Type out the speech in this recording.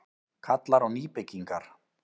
Kallar á nýbyggingar